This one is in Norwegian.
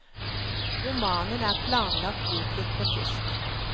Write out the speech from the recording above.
Romanen er planlagt utgitt på tysk.